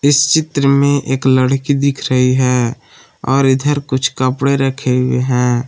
इस चित्र में एक लड़की दिख रही है और इधर कुछ कपड़े रखे हुए हैं।